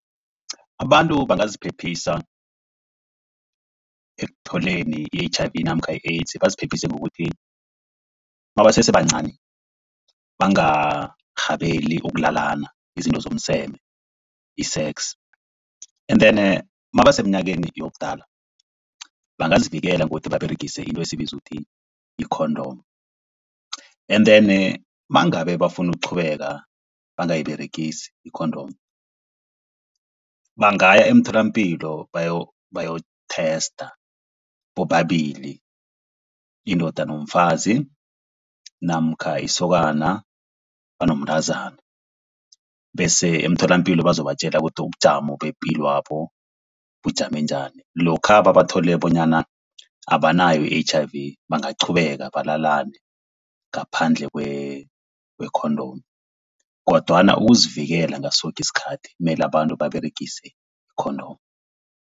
Abantu bangaziphephisa ekutholeni i-H_I_V namkha i-AIDS baziphephise ngokuthi nabasese bancani bangarhabeli ukulalana, izinto zomseme i-sex. And then nabaseminyakeni yobudala bangazivikela ngokuthi baberegise into esiyibiza uthi yi-condom, and then nangabe bafuna ukuqhubeka bangayiberegisi i-condom, bangaya emtholapilo bayo-tester bobabili indoda nomfazi namkha isokana banomntazana, bese emtholapilo bazobatjela ukuthi ubujamo bepilwabo bujame njani. Lokha babathole bonyana abanayo i-H_I_V bangaqhubeka balalane ngaphandle kwe-condom, kodwana ukuzivikela ngaso soke isikhathi mele abantu baberegise i-condom.